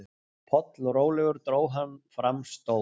Pollrólegur dró hann fram stór